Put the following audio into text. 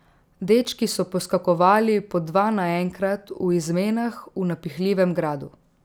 Dečki so poskakovali po dva naenkrat v izmenah v napihljivem gradu.